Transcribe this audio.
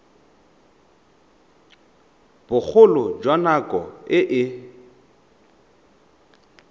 bogolo jwa nako e e